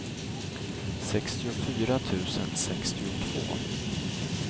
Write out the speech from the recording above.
sextiofyra tusen sextiotvå